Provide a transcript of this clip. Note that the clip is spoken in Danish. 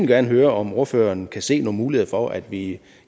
gerne høre om ordføreren kan se nogle muligheder for at vi